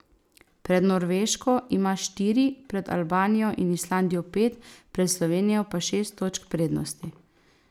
Pred Norveško ima štiri, pred Albanijo in Islandijo pet, pred Slovenijo pa šest točk prednosti.